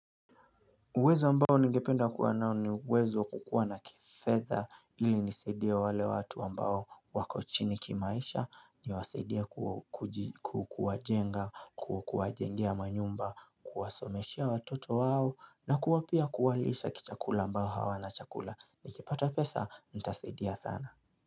Uwezo ambao ningependa kuwa nao ni uwezo wa kukuwa na kifedha ili nisaidie wale watu ambao wako chini kimaisha niwasaidie kuwajenga kuwajengea manyumba kuwasomezeshea watoto wao na kuwa pia kuwalisha kichakula mbao hawana chakula nikipata pesa nitasaidia sana.